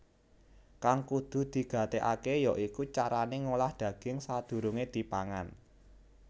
Kang kudu digatékaké ya iku carané ngolah daging sadurungé dipangan